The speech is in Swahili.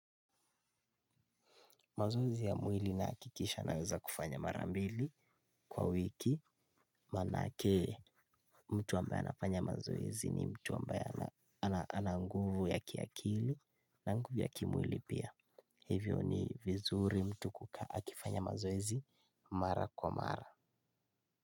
Mazoezi ya mwili, na hakikisha naweza kufanya mara mbili. Kwa wiki manake. Mtu ambaye anafanya mazoezi ni mtu ambaye, ana nguvu ya kiakili. Na nguvu ya kimwili pia. Hivyo ni, vizuri mtu kukaa akifanya mazoezi. Mara kwa mara.